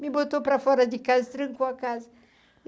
Me botou para fora de casa, trancou a casa.